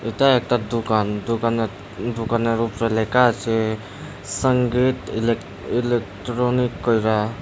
এইটা একটা দোকান দোকানের দোকানের উপরে লেখা আছে সংগীত ইলেক ইলেকট্রনিক কইরা।